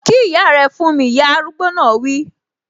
Kí ìyá rẹ fún mi! Ìyá arúgbó náà wi